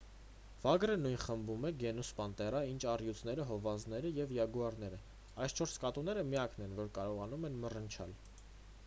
վագրը նույն խմբում է գենուս պանտերա ինչ առյուծները հովազները և յագուարները: այս չորս կատուները միակն են որ կարողանում են մռնչալ: